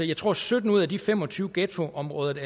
jeg tror at sytten ud af de fem og tyve ghettoområder